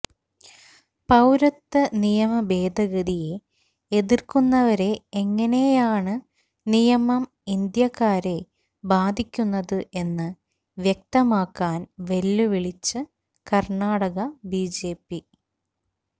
പൌരത്വ നിയമഭേദഗതിയെ എതിര്ക്കുന്നവരെ എങ്ങനെയാണ് നിയമം ഇന്ത്യക്കാരെ ബാധിക്കുന്നത് എന്ന് വ്യക്താക്കാന് വെല്ലുവിളിച്ച് കര്ണാടക ബിജെപി